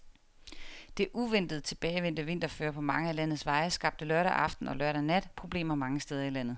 Det uventet tilbagevendte vinterføre på mange af landets veje skabte lørdag aften og lørdag nat problemer mange steder i landet.